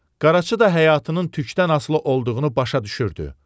Qaraçı da həyatının tükdən asılı olduğunu başa düşürdü.